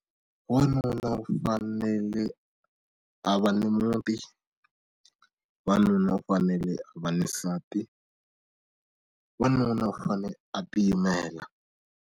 Wanuna u fanele a va ni muti wanuna u fanele a va na nsati wanuna u fanele a tiyimela.